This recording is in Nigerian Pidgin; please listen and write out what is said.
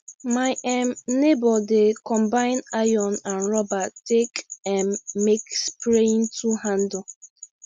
my um neighbour dey combine iron and rubber take um make spraying tool handle